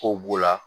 Kow b'o la